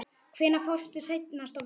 Hvenær fórstu seinast á völlinn?